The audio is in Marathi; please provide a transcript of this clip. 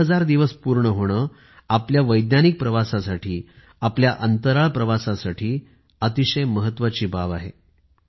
एक हजार दिवस पूर्ण होणं आपल्या वैज्ञानिक प्रवासासाठी आपल्या अंतराळ प्रवासासाठी महत्वाची बाब आहे